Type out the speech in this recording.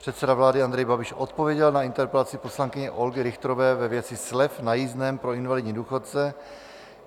Předseda vlády Andrej Babiš odpověděl na interpelaci poslankyně Olgy Richterové ve věci slev na jízdném pro invalidní důchodce.